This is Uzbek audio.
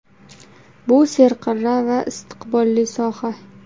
Bu serqirra va istiqbolli soha”.